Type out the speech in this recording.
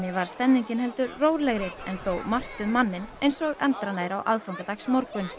var stemningin heldur rólegri þó margt um manninn eins og endranær á aðfangadagsmorgun